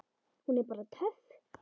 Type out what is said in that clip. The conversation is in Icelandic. Hún er bara töff.